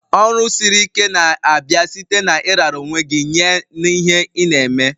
Ọrụ siri ike na-abịa site na ị rara onwe gj nye n'ihe ị na-eme.